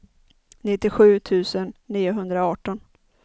nittiosju tusen niohundraarton